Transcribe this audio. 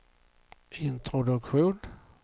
introduktion